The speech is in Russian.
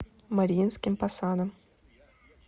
мариинским посадом